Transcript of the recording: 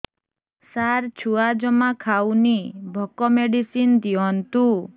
ସାର ଛୁଆ ଜମା ଖାଉନି ଭୋକ ମେଡିସିନ ଦିଅନ୍ତୁ